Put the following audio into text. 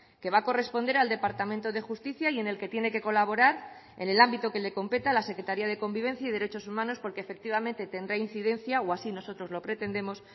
que va a corresponder al departamento de justicia y en el que tiene que colaborar en el ámbito que le competa la secretaria de convivencia y derechos humanos porque efectivamente tendrá incidencia o así nosotros lo pretendemos